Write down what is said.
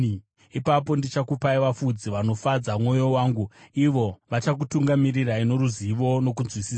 Ipapo ndichakupai vafudzi vanofadza mwoyo wangu, ivo vachakutungamirirai noruzivo nokunzwisisa.